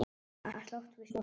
Að slást við sjálfan sig.